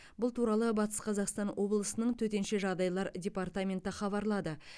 бұл туралы батыс қазақстан облысының төтенше жағдайлар департаменті хабарлады